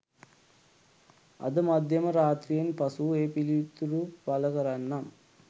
අද මධ්‍යම රාත්‍රියෙන් පසු ඒ පිළිතුරු පල කරන්නම්